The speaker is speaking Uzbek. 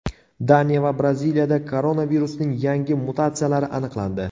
Daniya va Braziliyada koronavirusning yangi mutatsiyalari aniqlandi.